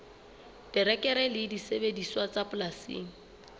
terekere le disebediswa tsa polasing